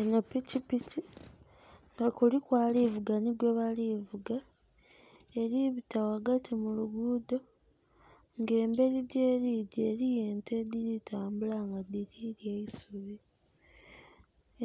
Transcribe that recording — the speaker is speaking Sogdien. Enho pikipiki nga kuliku ali vuga nhi gwebali vuga. Eli bita ghaghati mu lugudho, ng'embeli gyeli gya eliyo ente edhili tambula and dhili lya isubi.